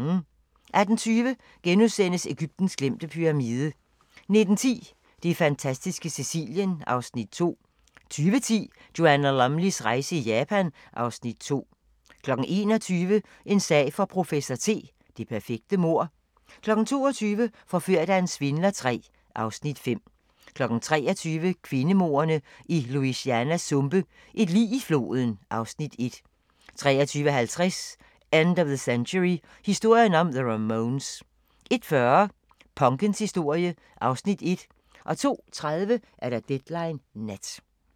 18:20: Egyptens glemte pyramide * 19:10: Det fantastiske Sicilien (Afs. 2) 20:10: Joanna Lumleys rejse i Japan (Afs. 2) 21:00: En sag for professor T: Det perfekte mord 22:00: Forført af en svindler III (Afs. 5) 23:00: Kvindemordene i Louisianas sumpe: Et lig i floden (Afs. 1) 23:50: End of the Century: Historien om the Ramones 01:40: Punkens historie (Afs. 1) 02:30: Deadline Nat